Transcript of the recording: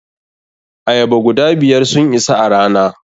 Ayaba guda biyar sun isa a rana.